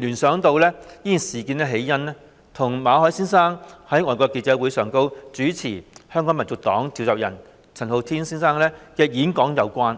聯想到事件起因與馬凱先生在外國記者會上主持香港民族黨召集人陳浩天先生的演講有關。